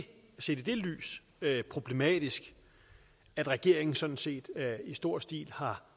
set i det lys så ikke problematisk at regeringen sådan set i stor stil har